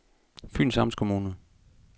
Fyns Amtskommune